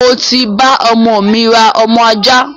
Mo ti bá ọmọ mi rà ọmọ ajá